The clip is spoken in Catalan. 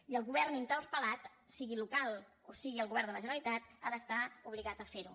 i el govern interpel·lat sigui local o sigui el govern de la generalitat ha d’estar obligat a ferho